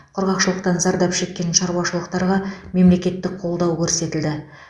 құрғақшылықтан зардап шеккен шаруашылықтарға мемлекеттік қолдау көрсетілді